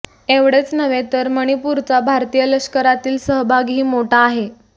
एवढेच नव्हे तर मणिपूरचा भारतीय लष्करातील सहभागही मोठा आहे